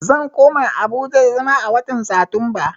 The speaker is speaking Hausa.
Zan koma Abuja da zama a watan Satumba